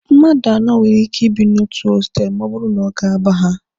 Mmadụ anọ nwere ike ibi n'otu hostelụ ọ bụrụ na ọ ga-aba ha.